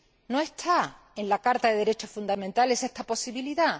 no está en la Carta de los Derechos Fundamentales esta posibilidad.